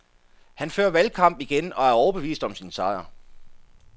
Han fører valgkamp igen og er overbevist om sin sejr.